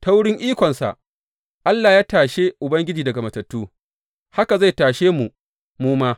Ta wurin ikonsa, Allah ya tashe Ubangiji daga matattu, haka zai tashe mu mu ma.